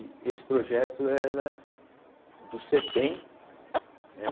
E esse projeto era do cêtem, né?